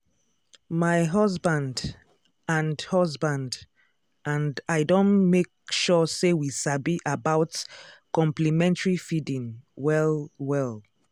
my husband and husband and i don dey make sure say we sabi about complementary feeding well-well.